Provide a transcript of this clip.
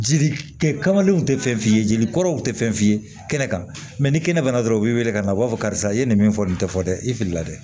Jeli kɛ kamalenw tɛ fɛn f'i ye jeli kɔrɔw tɛ fɛn f'i ye kɛnɛ kan ni kɛnɛ banna dɔrɔn u bɛ wili ka na u b'a fɔ karisa i ye nin min fɔ nin tɛ fɔ dɛ i filila dɛ